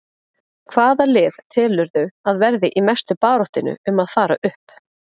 Hvaða lið telurðu að verði í mestu baráttunni um að fara upp?